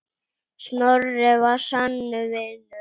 Snorri var sannur vinur.